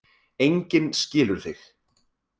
Enginn skilur þig.